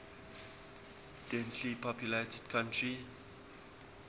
densely populated country